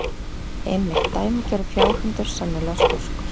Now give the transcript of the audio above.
Einmitt, dæmigerður fjárhundur, sennilega skoskur.